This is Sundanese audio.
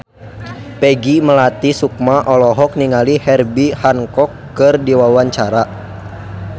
Peggy Melati Sukma olohok ningali Herbie Hancock keur diwawancara